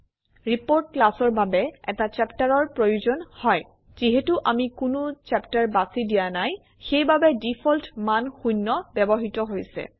report ক্লাছৰ বাবে এটা চেপ্টাৰৰ প্ৰয়োজন হয় যিহেতু আমি কোনো চেপ্টাৰ বাছি দিয়া নাই সেইবাবে ডিফল্ট মান শূন্য ব্যবহৃত হৈছে